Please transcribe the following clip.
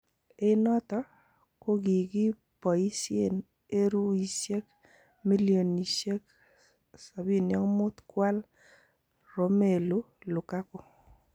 En noton kogigiboisien eruisiek milionisiek 75 kwal Romelu Lukaku.